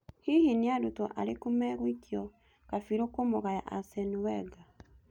Hihi nĩarutwo arĩkũ magũikio kabirũ kũmũgaya Arsene Wenger?